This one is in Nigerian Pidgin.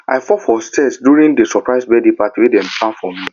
i fall for stairs during the surprise birthday party wey dem plan for me